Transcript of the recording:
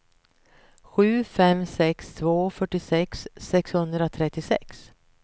sju fem sex två fyrtiosex sexhundratrettiosex